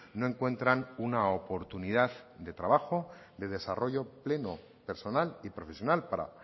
no encuentran una oportunidad de trabajo de desarrollo pleno personal y profesional para